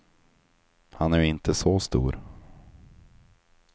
Han är ju inte så stor.